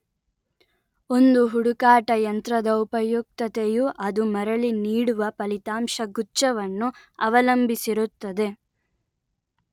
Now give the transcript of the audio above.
ಒಂದು ಹುಡುಕಾಟ ಯಂತ್ರದ ಉಪಯುಕ್ತತೆಯು ಅದು ಮರಳಿ ನೀಡುವ ಫಲಿತಾಂಶ ಗುಚ್ಛ ವನ್ನು ಅವಲಂಬಿಸಿರುತ್ತದೆ